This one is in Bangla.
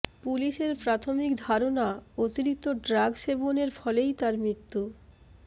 পুলিসের প্রাথমিক ধারণা অতিরিক্ত ড্রাগ সেবনের ফলেই তাঁর মৃত্যু